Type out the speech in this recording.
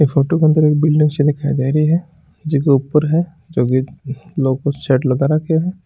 इ फोटो के अंदर एक बिल्डिंग सी दिखाई दे रही है जीके ऊपर है लगा राख्यो है ।